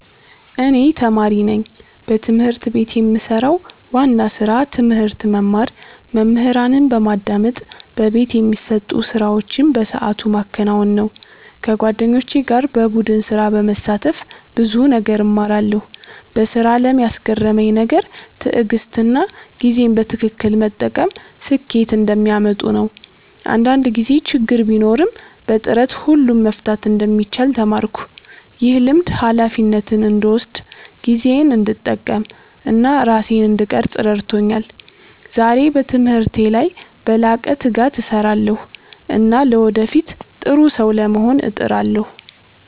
እኔ ተማሪ ነኝ። በትምህርት ቤት የምሰራው ዋና ስራ ትምህርት መማር፣ መምህራንን በማዳመጥ በቤት የሚሰጡ ስራዎችን በሰዓቱ ማከናወን ነው። ከጓደኞቼ ጋር በቡድን ስራ በመሳተፍ ብዙ ነገር እማራለሁ። በስራ አለም ያስገረመኝ ነገር ትዕግሥትና ጊዜን በትክክል መጠቀም ስኬት እንደሚያመጡ ነው። አንዳንድ ጊዜ ችግር ቢኖርም በጥረት ሁሉን መፍታት እንደሚቻል ተማርኩ። ይህ ልምድ ሃላፊነትን እንድወስድ፣ ጊዜዬን እንድጠቀም እና ራሴን እንድቀርፅ ረድቶኛል። ዛሬ በትምህርቴ ላይ በላቀ ትጋት እሰራለሁ እና ለወደፊት ጥሩ ሰው ለመሆን እጥራለሁ።